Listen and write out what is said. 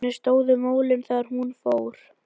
Þannig stóðu málin þegar hún fór.